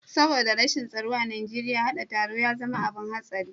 Saboda rashin tsaro a Najeriya, haɗa taro ya zama abin hatsari.